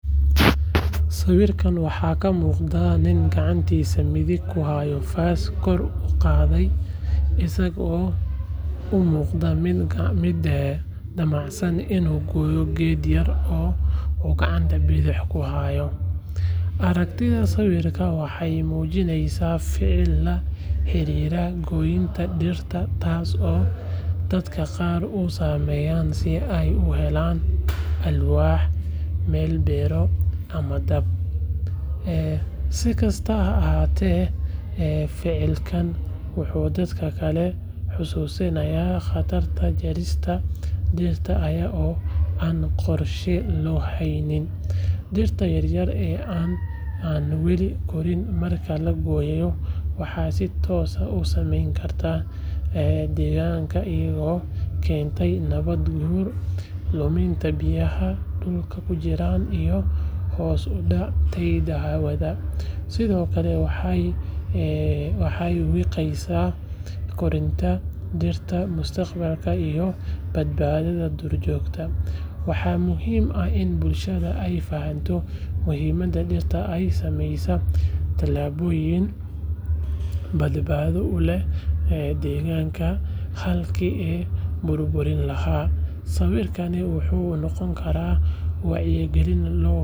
Sawirka waxaa ka muuqda nin gacantiisa midig ku haya faas kor u qaaday isagoo u muuqda mid damacsan inuu gooyo geed yar oo uu gacanta bidixda ku hayo. Aragtida sawirkan waxay muujinaysaa ficil la xiriira goynta dhirta taasoo dadka qaar u sameeyaan si ay u helaan alwaax, meel beero ama dab. Si kastaba ha ahaatee, ficilkan wuxuu dadka kale xasuusinayaa khatarta jarista dhirta iyada oo aan qorshe loo lahayn. Dhirta yaryar ee aan weli korin marka la gooyo waxay si toos ah u saameyn kartaa deegaanka iyadoo keenta nabaad guur, luminta biyaha dhulka ku jira iyo hoos u dhaca tayada hawada. Sidoo kale waxay wiiqeysaa koritaanka dhirta mustaqbalka iyo badbaadada duur joogta. Waxaa muhiim ah in bulshadeenu ay fahanto muhiimadda dhirta oo ay sameeyaan talaabooyin badbaado u leh deegaanka halkii la burburin lahaa. Sawirkani wuxuu noqon karaa wacyigelin.